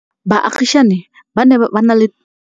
Baagisani ba ne ba na le ba na le